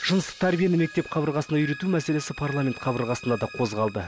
жыныстық тәрбиені мектеп қабырғасында үйрету мәселесі парламент қабырғасында да қозғалды